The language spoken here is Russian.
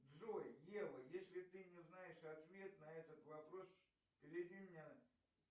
джой ева если ты не знаешь ответ на этот вопрос переведи меня